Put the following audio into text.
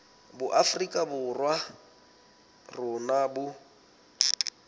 boafrika borwa ba rona bo